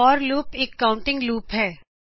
for loop ਇਕ counting loop ਹੈ